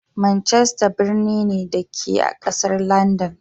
Manchester birni ne, da ke a ƙasar Landan.